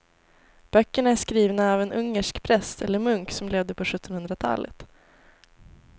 Böckerna är skrivna av en ungersk präst eller munk som levde på sjuttonhundratalet.